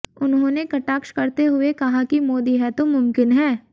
उन्होंने कटाक्ष करते हुए कहा कि मोदी है तो मूमकीन है